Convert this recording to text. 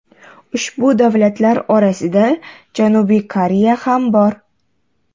Ushbu davlatlar orasida Janubiy Koreya ham bor.